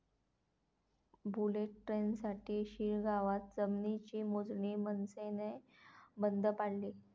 bullet ट्रेनसाठी शिळगावात जमिनीची मोजणी मनसेनं बंद पाडली